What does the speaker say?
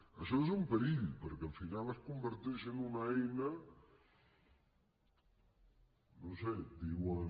això és un perill perquè al final es converteix en una eina no ho sé diuen